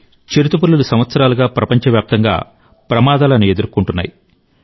చిరుతపులులు సంవత్సరాలుగా ప్రపంచవ్యాప్తంగా అపాయాలను ఎదుర్కొంటున్నాయి